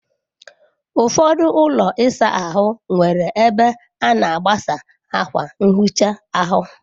Ụfọdụ ụlọ ịsa ahụ nwere ebe a na aghasa akwa nhicha ahụ.